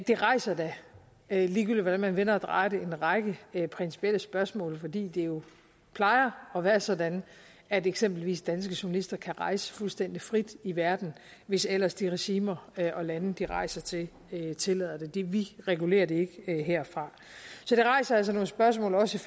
det rejser da ligegyldigt hvordan man vender og drejer det en række principielle spørgsmål fordi det jo plejer at være sådan at eksempelvis danske journalister kan rejse fuldstændig frit i verden hvis ellers de regimer og lande de rejser til tillader det det vi regulerer det ikke herfra så det rejser altså nogle spørgsmål også